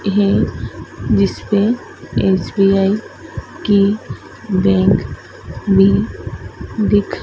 हैं जिसमें एस_बी_आई की बैंक भी दिख--